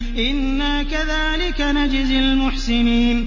إِنَّا كَذَٰلِكَ نَجْزِي الْمُحْسِنِينَ